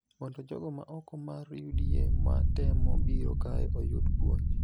mondo jogo ma oko mar(UDA) ma temo biro kae oyud puonj.